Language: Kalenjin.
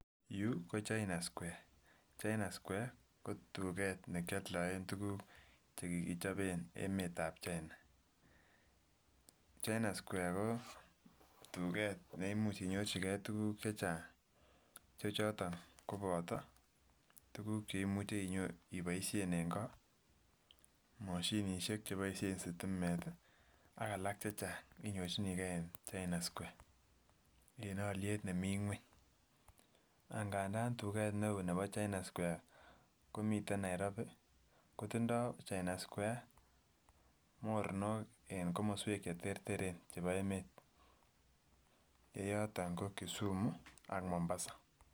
Yuu ko CHINA SQUARE, CHINA SQUARE ko tuget ne kyoldoen tukuk che kikichoben emet ab China. CHINA SQUARE ko tuget neimuch inyorchigee tukuk chechang che choton koboto tukuk cheimuche iboishen en ngo, moshinishek che boishen sitimet ii ak alak chechaang inyorchinigee en CHINA SQUARE en olyet nemii ngweny. Angandan tuket ne oo nebo CHINA SQUARE komiten Nairobi, kotindo CHINA SQUARE mornok en komoswek che terter chebo emet ye yoto ko Kisumu ak Mombasa